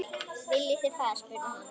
Viljið þið far? spurði hann.